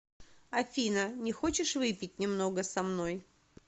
афина не хочешь выпить немного со мной